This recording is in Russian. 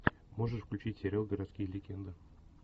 можешь включить сериал городские легенды